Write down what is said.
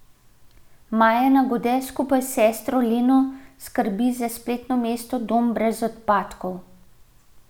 Maja Nagode skupaj s sestro Leno skrbi za spletno mesto Dom brez odpadkov.